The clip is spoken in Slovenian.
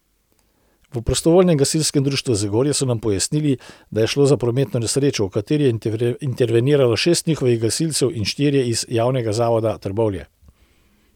V Prostovoljnem gasilskem društvu Zagorje so nam pojasnili, da je šlo za prometno nesrečo, v kateri je interveniralo šest njihovih gasilcev in štirje iz Javnega zavoda Trbovlje.